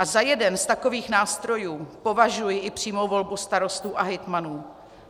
A za jeden z takových nástrojů považuji i přímou volbu starostů a hejtmanů.